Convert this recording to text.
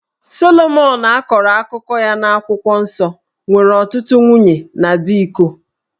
Solomọn a kọrọ akụkọ ya n'akwụkwọ nsọ nwere ọtụtụ nwunye na dị iko